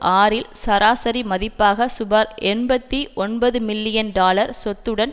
ஆறில் சராசரி மதிப்பாக சுமார் எண்பத்தி ஒன்பது மில்லியன் டாலர் சொத்துடன்